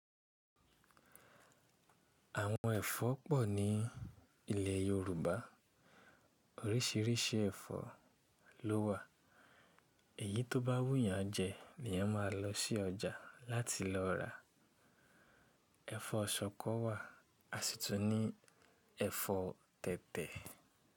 Àwọn ẹ̀fọ́ pọ̀ ní ilẹ̀ Yorùbá. Oríṣiríṣi ẹ̀fọ́ lówà. Èyí tó bá wù yán jẹ ní yan máa lọ sí ọjà láti lọ rà. Ẹ̀fọ́ ṣọkọ wà, a sì tún ní ẹ̀fọ́ tẹ̀tẹ̀.